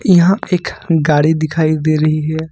यहां पे एक गाड़ी दिखाई दे रही है।